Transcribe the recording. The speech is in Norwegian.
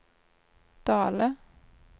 Dale